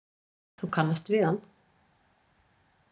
Þú kannast við hann?